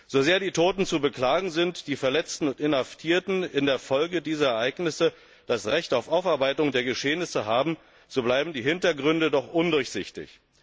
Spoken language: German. So sehr die Toten zu beklagen sind und die Verletzten und Inhaftierten in der Folge dieser Ereignisse das Recht auf Aufarbeitung der Geschehnisse haben, so bleiben die Hindergründe doch undurchsichtig.